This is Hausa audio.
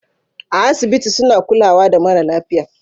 A asibiti suna kulawa da mara lafiya